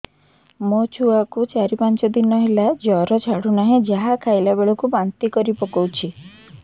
ମୋ ଛୁଆ କୁ ଚାର ପାଞ୍ଚ ଦିନ ହେଲା ଜର ଛାଡୁ ନାହିଁ ଯାହା ଖାଇଲା ବେଳକୁ ବାନ୍ତି କରି ପକଉଛି